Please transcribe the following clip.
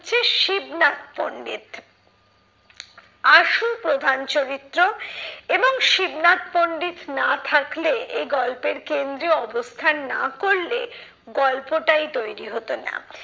শিবনাথ পন্ডিত। আশু প্রধান চরিত্র এবং শিবনাথ পন্ডিত না থাকলে এই গল্পের কেন্দ্রে অবস্থান না করলে গল্পটাই তৈরী হতো না।